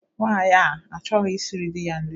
Nwaanyi a achọghọ ishiri di ya nri